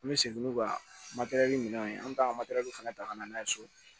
An bɛ segin n'u ka minɛnw ye an bɛ taa fana ta ka na n'a ye so